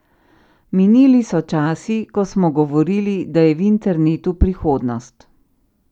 Minili so časi, ko smo govorili, da je v internetu prihodnost.